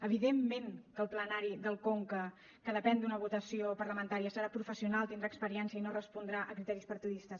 evidentment que el plenari del conca que depèn d’una votació parlamentària serà professional tindrà experiència i no respondrà a criteris partidistes